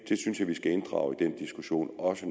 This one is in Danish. også